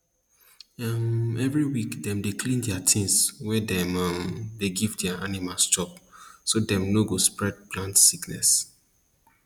um every week dem dey clean their things wey dem um dey give their animal chop so dem no go spread plant sickness